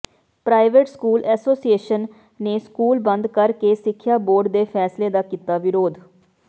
private school association ਨੇ school ਬੰਦ ਕਰ ਕੇ ਸਿੱਖਿਆ ਬੋਰਡ ਦੇ ਫ਼ੈਸਲੇ ਦਾ ਕੀਤਾ ਵਿਰੋਧ